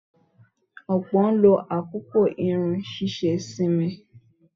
Ọ̀pọ̀ ló ń àkókò irun ṣíṣe sinmi.